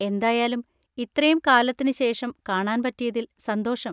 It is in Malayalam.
എന്തായാലും ഇത്രേം കാലത്തിന് ശേഷം കാണാൻ പറ്റിയതിൽ സന്തോഷം.